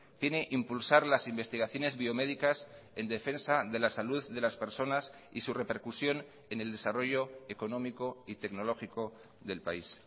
tiene impulsar las investigaciones biomédicas en defensa de la salud de las personas y su repercusión en el desarrollo económico y tecnológico del país